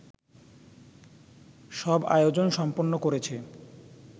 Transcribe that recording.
সব আয়োজন সম্পন্ন করেছে